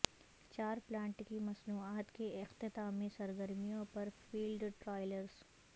چار پلانٹ کی مصنوعات کے اختتامی سرگرمیوں پر فیلڈ ٹرائلز